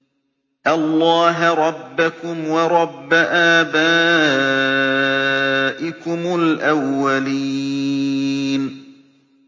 اللَّهَ رَبَّكُمْ وَرَبَّ آبَائِكُمُ الْأَوَّلِينَ